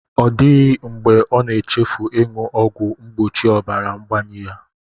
Ọ dịghị mgbe ọ na-echefu ịṅụ ọgwụ mgbochi ọbara ngbayi ya